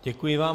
Děkuji vám.